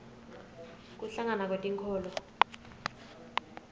kuhlangana kwetinkholo